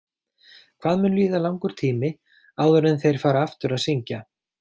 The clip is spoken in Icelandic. Hvað mun líða langur tími áður en þeir fara aftur að syngja?